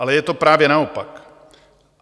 Ale je to právě naopak.